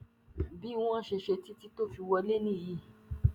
bí wọ́n ṣe ṣe títí tó fi wọlé nìyí